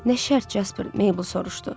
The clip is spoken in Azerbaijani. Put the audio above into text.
Nə şərt Jaspar Mable soruşdu.